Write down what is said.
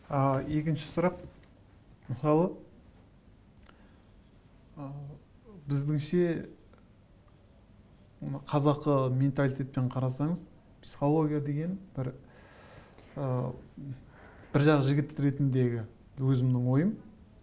ы екінші сұрақ мысалы ы біздіңше қазақы менталитетпен қарасаңыз психология деген бір ы бір жағы жігіт ретіндегі өзімнің ойым